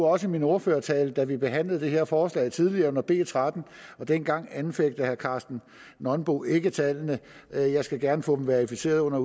også af min ordførertale da vi behandlede det her forslag tidligere under navnet b tretten og dengang anfægtede herre karsten nonbo ikke tallet jeg jeg skal gerne få dem verificeret under